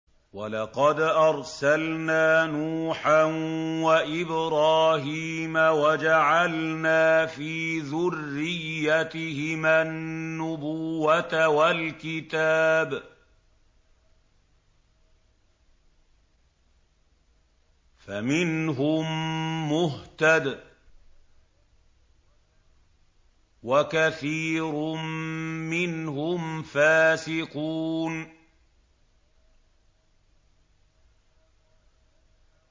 وَلَقَدْ أَرْسَلْنَا نُوحًا وَإِبْرَاهِيمَ وَجَعَلْنَا فِي ذُرِّيَّتِهِمَا النُّبُوَّةَ وَالْكِتَابَ ۖ فَمِنْهُم مُّهْتَدٍ ۖ وَكَثِيرٌ مِّنْهُمْ فَاسِقُونَ